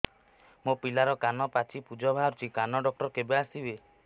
ମୋ ପିଲାର କାନ ପାଚି ପୂଜ ବାହାରୁଚି କାନ ଡକ୍ଟର କେବେ ଆସିବେ